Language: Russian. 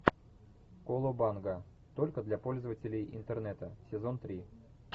колобанга только для пользователей интернета сезон три